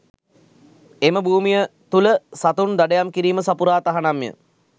එම භූමිය තුළ සතුන් දඩයම් කිරීම සපුරා තහනම්ය